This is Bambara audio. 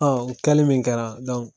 o kɛli min kɛra .